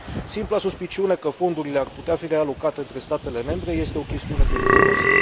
Simpla suspiciune că fondurile ar putea fi realocate între statele membre este o chestiune periculoasă.